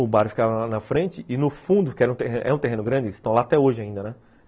O bar ficava na frente e no fundo, que era que é um terreno grande, eles estão lá até hoje ainda, né?